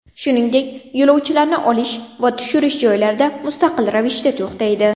Shuningdek, yo‘lovchilarni olish va tushirish joylarida mustaqil ravishda to‘xtaydi.